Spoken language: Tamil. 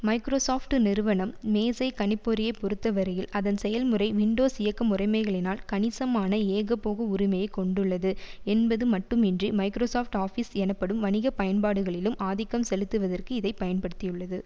மைக்ரோசாப்ட் நிறுவனம் மேசை கணிப்பொறியை பொறுத்தவரையில் அதன் செயல்முறை விண்டோஸ் இயக்க முறைமைகளினால் கணிசமான ஏகபோக உரிமையை கொண்டுள்ளது என்பது மட்டுமின்றி மைக்ரோசாப்ட் ஆபீஸ் எனப்படும் வணிக பயன்பாடுகளிலும் ஆதிக்கம் செலுத்துவதற்கு இதை பயன்படுத்தியுள்ளது